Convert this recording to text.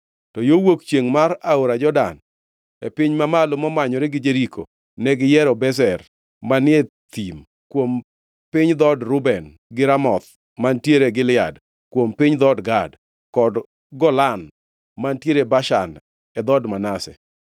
To yo wuok chiengʼ mar Aora Jordan (e piny mamalo momanyore gi Jeriko) negiyiero Bezer manie thim kuom piny dhood Reuben gi Ramoth mantiere Gilead kuom piny dhood Gad, kod Golan mantiere Bashan e dhood Manase.